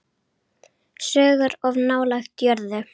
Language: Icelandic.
Sögur of nálægt jörðu.